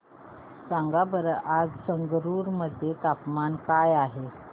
सांगा बरं आज संगरुर मध्ये तापमान काय आहे